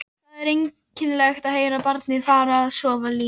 Það er einkennilegt að heyra barnið fara með svona línur